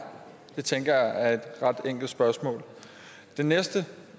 det tænker jeg er et ret enkelt spørgsmål det næste